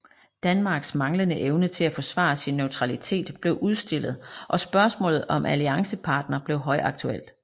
Danmarks manglende evne til at forsvare sin neutralitet blev udstillet og spørgsmålet om alliancepartner blev højaktuelt